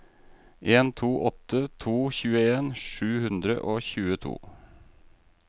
en to åtte to tjueen sju hundre og tjueto